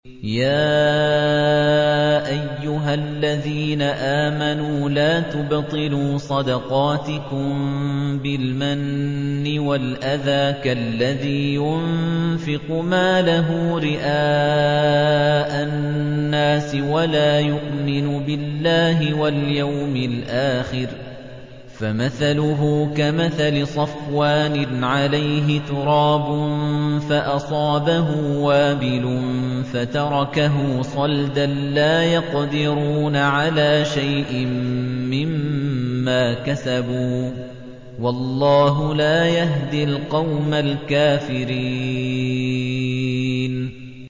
يَا أَيُّهَا الَّذِينَ آمَنُوا لَا تُبْطِلُوا صَدَقَاتِكُم بِالْمَنِّ وَالْأَذَىٰ كَالَّذِي يُنفِقُ مَالَهُ رِئَاءَ النَّاسِ وَلَا يُؤْمِنُ بِاللَّهِ وَالْيَوْمِ الْآخِرِ ۖ فَمَثَلُهُ كَمَثَلِ صَفْوَانٍ عَلَيْهِ تُرَابٌ فَأَصَابَهُ وَابِلٌ فَتَرَكَهُ صَلْدًا ۖ لَّا يَقْدِرُونَ عَلَىٰ شَيْءٍ مِّمَّا كَسَبُوا ۗ وَاللَّهُ لَا يَهْدِي الْقَوْمَ الْكَافِرِينَ